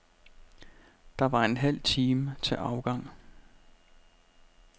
Der var en halv time til afgang.